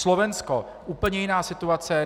Slovensko - úplně jiná situace.